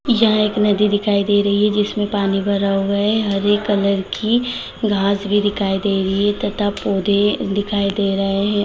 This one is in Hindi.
यह एक नदी दिखाई दे रही है जिसमें पानी भरा हुआ है हरे कलर की घास भी दिखाई दे रही है तथा पौधे दिखाई दे रहे हैं ।